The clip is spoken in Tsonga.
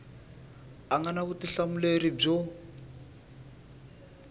a nga na vutihlamuleri byo